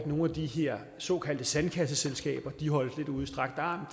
nogle af de her såkaldte sandkasseselskaber holdes ud i strakt arm